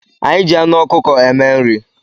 Anyị ji anụ ọkụkọ eme nri